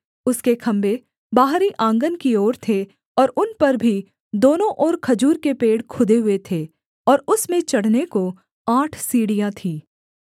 उसके खम्भे बाहरी आँगन की ओर थे और उन पर भी दोनों ओर खजूर के पेड़ खुदे हुए थे और उसमें चढ़ने को आठ सीढ़ियाँ थीं